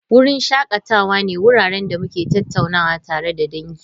Wurin shakatawa ne wuraren da muke tattaunawa tare da dangi.